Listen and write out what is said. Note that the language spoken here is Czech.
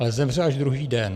Ale zemře až druhý den.